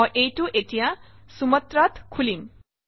মই এইটো এতিয়া Sumatra ত খুলিম